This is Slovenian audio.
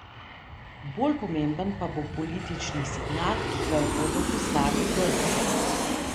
Bolj pomemben pa bo politični signal, ki ga bodo poslali Grki.